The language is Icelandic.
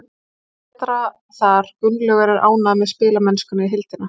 Mér fannst við betri þar. Gunnlaugur er ánægður með spilamennskuna í heildina.